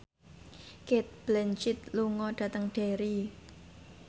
Cate Blanchett lunga dhateng Derry